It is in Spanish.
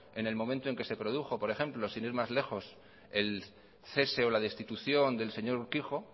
en el momento en que se produjo por ejemplo sin ir más lejos el cese o la destitución del señor urkijo